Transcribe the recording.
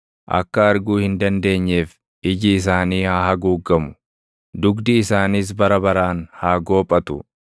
Akka arguu hin dandeenyeef iji isaanii haa haguuggamu; dugdi isaaniis bara baraan haa goophatu.